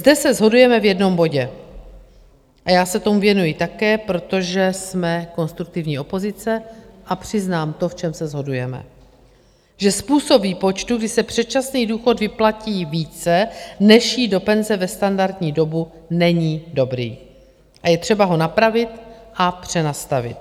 Zde se shodujeme v jednom bodě - a já se tomu věnuji také, protože jsme konstruktivní opozice a přiznám to, v čem se shodujeme - že způsob výpočtu, kdy se předčasný důchod vyplatí více než jít do penze ve standardní dobu, není dobrý a je třeba ho napravit a přenastavit.